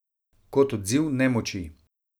Kot odziv nemoči.